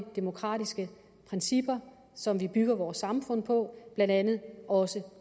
demokratiske principper som vi bygger vores samfund på blandt andet også